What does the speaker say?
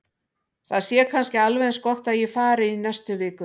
Það sé kannski alveg eins gott að ég fari í næstu viku.